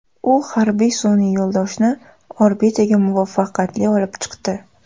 U harbiy sun’iy yo‘ldoshni orbitaga muvaffaqiyatli olib chiqdi.